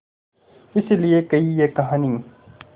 इस लिये कही ये कहानी